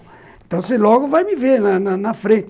Então você logo vai me ver na na na frente.